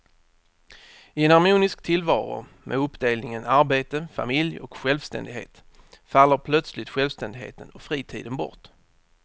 I en harmonisk tillvaro med uppdelningen arbete, familj och självständighet faller plötsligt självständigheten och fritiden bort.